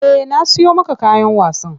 Eh na siyo maka kayan wasan.